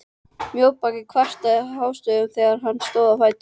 Mjóbakið kvartaði hástöfum þegar hann stóð á fætur.